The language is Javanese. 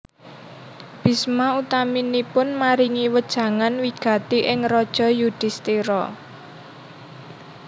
Bisma utaminipun maringi wejangan wigati ing Raja Yudisthira